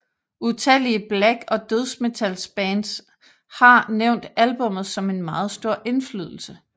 Utallige black og dødsmetalbands har nævnt albummet som en meget stor indflydelse